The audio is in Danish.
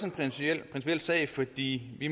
en principiel sag fordi vi